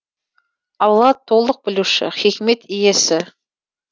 алла толық білуші хикмет иесі